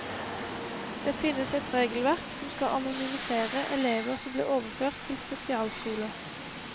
Det finnes et regelverk som skal anonymisere elever som blir overført til spesialskoler.